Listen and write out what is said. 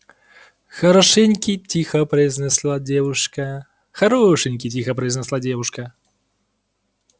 хорошенький тихо произнесла девушка хорошенький тихо произнесла девушка